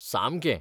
सामकें.